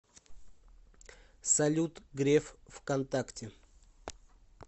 салют греф в контакте